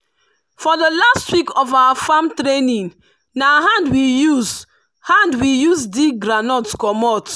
for the last week of our farm training na hand we use hand we use dig groundnut comot.